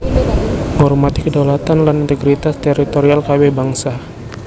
Ngormati kedaulatan lan integritas teritorial kabèh bangsa